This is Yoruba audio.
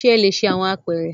Ṣe a le ṣe awọn apeere?